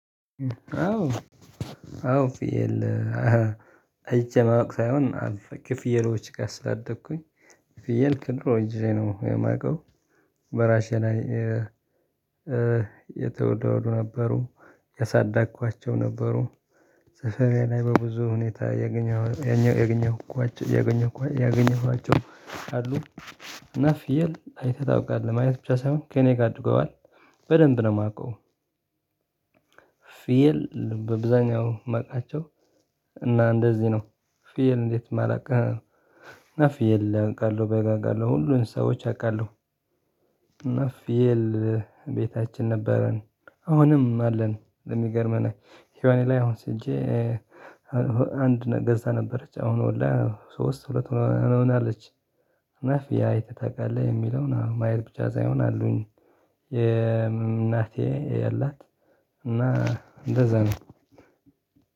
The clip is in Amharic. አዎ። አዎ ፍየል አይቼ ማወቅ ሳይሆን ከፍየሎች ጋር ስላደኩኝ ፍየል ከድሮ ጊዜ ነው የማውቀው። በራሴ ላይ የተወለዱ ነበሩ ያሳዳኳቸው ነበሩ። ሰፈሬ ላይ በብዙ ሁኔታ ያገኘኋቸው ያገኘኋቸው ያገኘኋቸው አሉ። እና ፊየል አይተህ ታውቃለህ ማየት ብቻ ሳይሆን ከእኔ ጋር አድርገዋል በደንብ ነው ማውቀው። ፊየል በብዛኛው ማቃቸው እና እንደዚህ ነው ፊየል እንዴት ማላቀህ? እና ፊየል አቃለሁ በግ አቃለሁ ሁሉን እንስሣዎች አቃለሁ። እና ፍየል ቤታችን ነበረን። አሁንም አለን ለሚገርመን ሄዋኔ ላይ አሁን ወሲጄ። አንድ ገዛ ነበረች አሁን ወልዳ ሶስት ሁለት ሆናለች። እና ፍየል አይተህ ታቃለህ? የሚለውን አዎ ማየት ብቻ ሳይሆን አሉኝ። የእናቴ አላት እና እንደዛ ነው።